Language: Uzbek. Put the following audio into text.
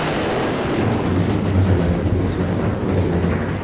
U ulkan marralarga erishadi deb o‘ylagandim.